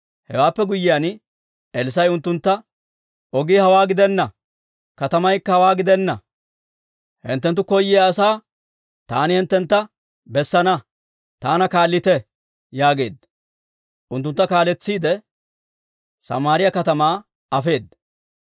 Hewaappe guyyiyaan, Elssaa'i unttuntta, «Ogii hawaa gidenna; katamaykka hawaa gidenna. Hinttenttu koyyiyaa asaa taani hinttentta bessana; taana kaallite» yaageedda. Unttuntta kaaletsiide, Samaariyaa katamaa afeedda.